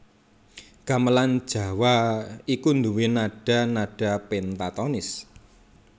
Gamelan Jawa iku nduwé nada nada péntatonis